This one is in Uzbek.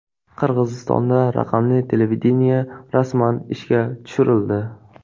Qirg‘izistonda raqamli televideniye rasman ishga tushirildi.